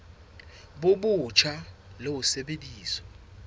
bo botjha le ho sebedisa